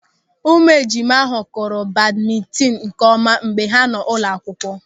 Ụmụejima ahụ kụrụ badmintin nkeọma mgbe ha nọ n'ụlọakwụkwọ.